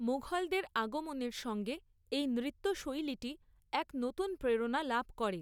মুঘলদের আগমনের সঙ্গে এই নৃত্যশৈলীটি এক নতুন প্রেরণা লাভ করে।